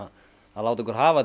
láta okkur hafa til